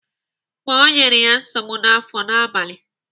Okpo nyere ya nsogbu n'afọ n'abalị.